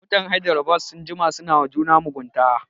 Mutan Hydrabad sun jima suna wa juna mugunta